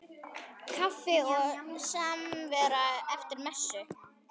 Kaffi og samvera eftir messu.